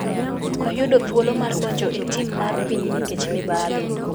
ok yudo thuolo mar donjo e tim mar piny nikech mibadhi.